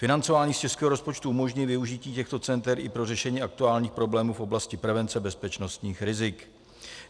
Financování z českého rozpočtu umožní využití těchto center i pro řešení aktuálních problémů v oblasti prevence bezpečnostních rizik.